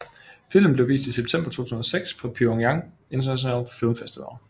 Filmen blev vist i september 2006 på Pyongyang International Film Festival